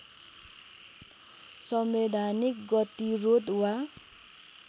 संवैधानिक गतिरोध वा